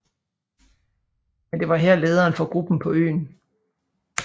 Men det her var lederen for gruppen på øen